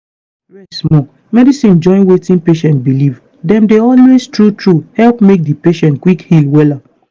rest small. medicine join wetin patient believe dem dey always true true help make di patient quick heal wella.